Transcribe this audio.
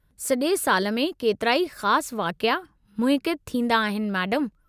सॼे साल में केतिराई ख़ासि वाक़िया मुनक़िदु थींदा आहिनि, मैडमु।